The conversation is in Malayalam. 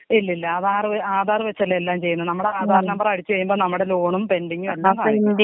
ഇല്ലില്ല അത് ആധാറ് ആധാർ വെച്ചല്ലെ എല്ലാം ചെയ്യുന്നത് നമ്മടെ ആധാർ നമ്പർ അടിച്ച് കഴിയുമ്പം നമ്മടെ ലോണും പെൻഡിങ്ങും എല്ലാം കാണിക്കും.